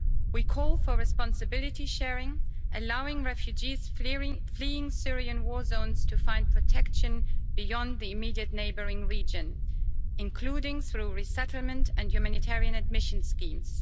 We call for responsibility sharing, allowing refugees fleeing Syrian war zones to find protection beyond the immediate neighbouring region, including through resettlement and humanitarian admission schemes.